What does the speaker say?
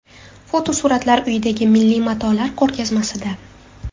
Fotosuratlar uyidagi milliy matolar ko‘rgazmasida.